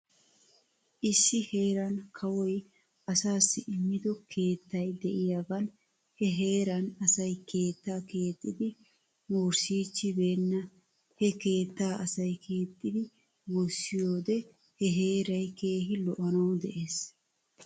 Issi heeran kawoy asaassi immido keettay de'iyaagan he heeran asay keetta keexxidi wursiichchibeenna. He keettaa asay keexxidi wurssiyoode he heeray keehi lo'anaw des.